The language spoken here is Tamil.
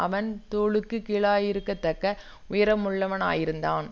அவன் தோளுக்குக் கீழாயிருக்கத்தக்க உயரமுள்ளவனாயிருந்தான்